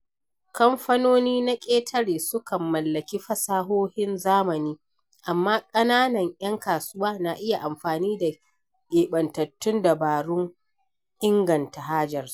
Kamfanoni na ƙetare sukan mallaki fasahohin zamani, amma ƙananan ‘yan kasuwa na iya amfani da keɓantattun dabarun inganta hajarsu.